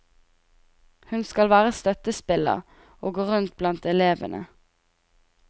Hun skal være støttespiller, og gå rundt blant elevene.